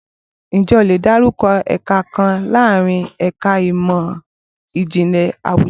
Ǹjẹ́ o lè dárúkọ ẹ̀ka kan láàárín ẹ̀ka ìmọ̀ Ìjìnlẹ̀ Àwùjọ?